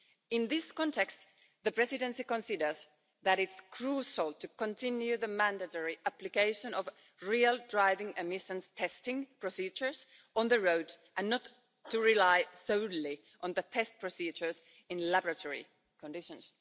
In this context, the Presidency considers that it's crucial to continue the mandatory application of real driving emissions test procedures on the road and not to rely solely on test procedures in laboratory conditions.